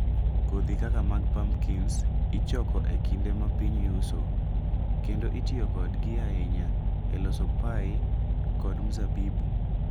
Kodhi kaka mag pumpkins ichoko e kinde ma piny yuso, kendo itiyo kodgi ahinya e loso pie kod mzabibu.